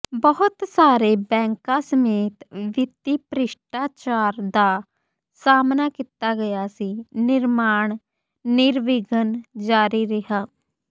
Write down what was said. ਬਹੁਤ ਸਾਰੇ ਬੈਂਕਾਂ ਸਮੇਤ ਵਿੱਤੀ ਭ੍ਰਿਸ਼ਟਾਚਾਰ ਦਾ ਸਾਹਮਣਾ ਕੀਤਾ ਗਿਆ ਸੀ ਨਿਰਮਾਣ ਨਿਰਵਿਘਨ ਜਾਰੀ ਰਿਹਾ